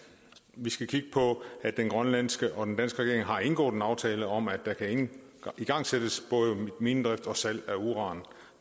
vi skal kigge på at den grønlandske og den danske regering har indgået en aftale om at der kan igangsættes både minedrift og salg af uran